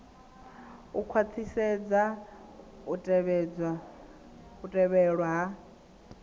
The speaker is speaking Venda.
u khwaṱhisedza u tevhedzelwa ha